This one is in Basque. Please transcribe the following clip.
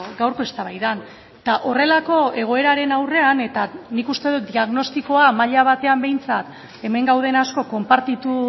gaurko eztabaidan eta horrelako egoeraren aurrean eta nik uste dut diagnostikoa maila batean behintzat hemen gauden asko konpartitu